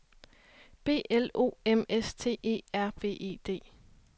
B L O M S T E R B E D